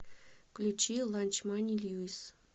включи ланчмани льюис